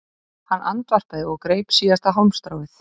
Hann andvarpaði og greip síðasta hálmstráið